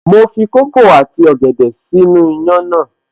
Mo fi kókò àti ọ̀gẹ̀dẹ̀ sínú iyán náà